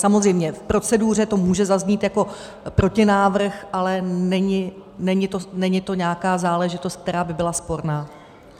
Samozřejmě, v proceduře to může zaznít jako protinávrh, ale není to nějaká záležitost, která by byla sporná.